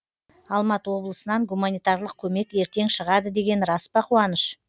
алматы облысынан гуманитарлық көмек ертең шығады деген рас па қуаныш